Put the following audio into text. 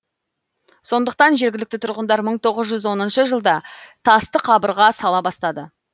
сондықтан жергілікті тұрғындар мың тоғыз жүз оныншы жылда тасты қабырға сала бастады